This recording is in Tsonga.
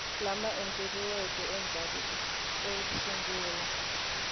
lama endliweke endzhaku ko sungula